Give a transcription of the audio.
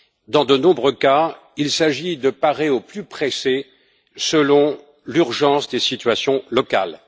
Dans de nombreux cas, il s'agit de parer au plus pressé, selon l'urgence des situations locales.